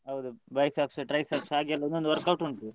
ಹೌದು biceps triceps ಹಾಗೆಲ್ಲ ಒಂದೊಂದು workout ಉಂಟು.